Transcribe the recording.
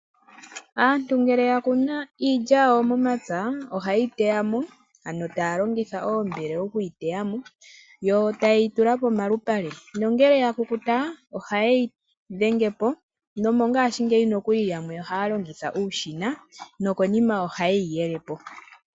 Aantu ngele yakunu iilya yawo momapya, ohayeyi teyamo, ano taya longitha oombele okuyi teyamo, yo tayeyi tula pomalupale. Nongele yakukuta, ohayeyi dhengepo, nomongaashingeyi nokuli yamwe ohaya longitha uushina, nokonima ohayeyi yelepo.